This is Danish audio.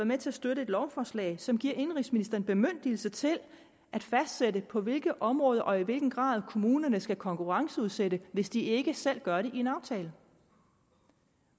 med til at støtte et lovforslag som giver indenrigsministeren bemyndigelse til at fastsætte på hvilke områder og i hvilken grad kommunerne skal konkurrenceudsætte hvis de ikke selv gør det i en aftale